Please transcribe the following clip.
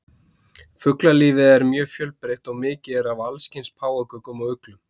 fuglalífið er mjög fjölbreytt og mikið er af allskyns páfagaukum og uglum